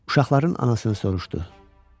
Uşaqların anasını soruşdu.